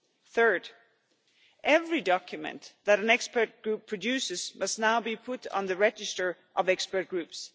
Third, every document that an expert group produces must now be put on the register of expert groups.